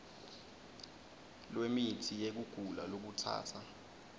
lwemitsi yekugula lokutsatsa